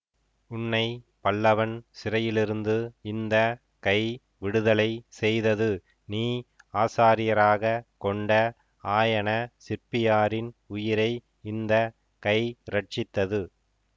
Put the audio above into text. உன்னை பல்லவன் சிறையிலிருந்து இந்த கை விடுதலை செய்தது நீ ஆசாரியராகக் கொண்ட ஆயன சிற்பியாரின் உயிரை இந்த கை இரட்சித்தது